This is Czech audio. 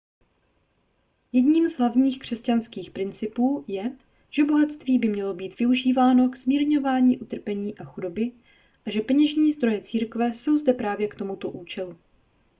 jedním z hlavních křesťanských principů je že bohatství by mělo být využíváno k zmírňování utrpení a chudoby a že peněžní zdroje církve jsou zde právě k tomuto účelu